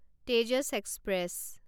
Tejas express